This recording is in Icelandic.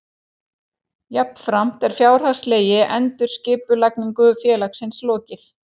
Jafnframt er fjárhagslegri endurskipulagningu félagsins lokið